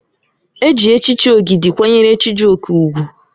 Eji echichi Ogide kwanyere Chijioke ugwu.